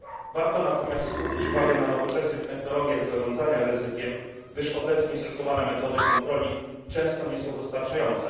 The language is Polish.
Warto natomiast skupić uwagę na nowoczesnych technologiach zarządzania ryzykiem, gdyż obecnie stosowane metody kontroli często nie są wystarczające.